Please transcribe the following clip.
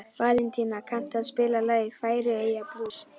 Valentína, kanntu að spila lagið „Færeyjablús“?